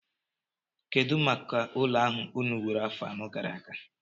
Kedụ maka ụlọ ahụ unu wuru afọ anọ gara aga?